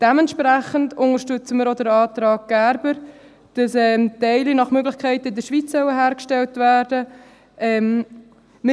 Dementsprechend unterstützen wir auch den Antrag Gerber, wonach Teile nach Möglichkeit in der Schweiz hergestellt werden sollen.